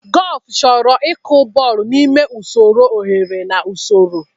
Gọlfụ chọrọ ịkụ bọl n'ime usoro oghere na usoro.